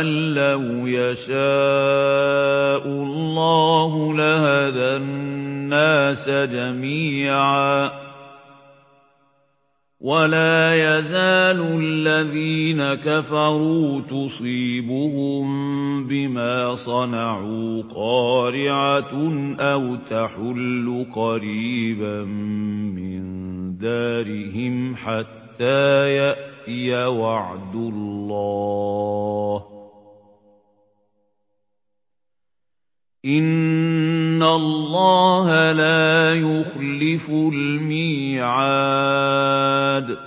أَن لَّوْ يَشَاءُ اللَّهُ لَهَدَى النَّاسَ جَمِيعًا ۗ وَلَا يَزَالُ الَّذِينَ كَفَرُوا تُصِيبُهُم بِمَا صَنَعُوا قَارِعَةٌ أَوْ تَحُلُّ قَرِيبًا مِّن دَارِهِمْ حَتَّىٰ يَأْتِيَ وَعْدُ اللَّهِ ۚ إِنَّ اللَّهَ لَا يُخْلِفُ الْمِيعَادَ